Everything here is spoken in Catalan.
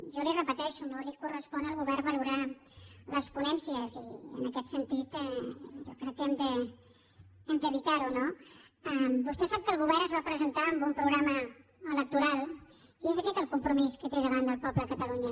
jo li ho repeteixo no correspon al govern valorar les ponències i en aquest sentit jo crec que hem d’evitar ho no vostè sap que el govern es va presentar amb un programa electoral i és aquest el compromís que té davant del poble de catalunya